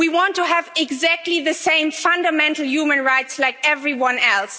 We want to have exactly the same fundamental human rights like everyone else.